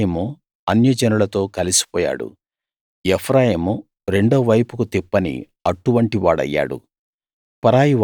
ఎఫ్రాయిము అన్యజనులతో కలిసిపోయాడు ఎఫ్రాయిము రెండో వైపుకు తిప్పని అట్టు వంటి వాడయ్యాడు